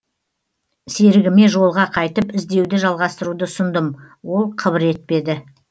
серігіме жолға қайтып іздеуді жалғастыруды ұсындым ол қыбыр етпеді